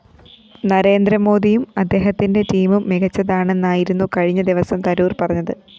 നരേന്ദ്രമോദിയും അദ്ദേഹത്തിന്റെ ടീമും മികച്ചതാണെന്നായിരുന്നു കഴിഞ്ഞ ദിവസം തരൂര്‍ പറഞ്ഞത്